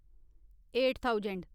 eight thousand